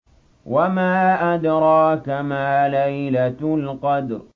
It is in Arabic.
وَمَا أَدْرَاكَ مَا لَيْلَةُ الْقَدْرِ